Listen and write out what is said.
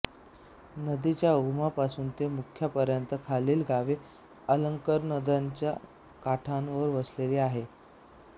नदीच्या उगमापासून ते मुखापर्यंत खालील गावे अलकनंदाच्या काठांवर वसली आहेत